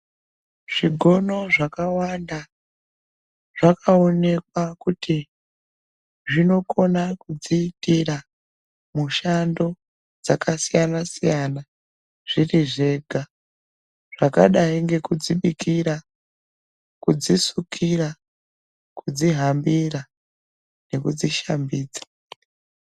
Zvigono zvakawanda zvakaonekwa kuti zvinokona kudziitira mushando dzakasiyana-siyana zviri zvega. Zvakadai ngekudzibikira, kudzisukira, kudzihambira nekudzi shambidza.